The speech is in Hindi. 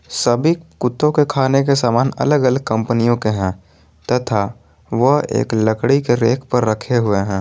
सभी कुत्तों के खाने के समान अलग अलग कंपनियों के हैं तथा वह एक लकड़ी के रैक पर रखे हुए हैं।